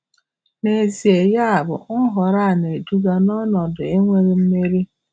Nezie, yabụ, nhọrọ a na-eduga nọnọdụ um enweghị mmeri.